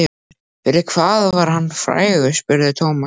Fyrir hvað var hann frægur? spurði Thomas.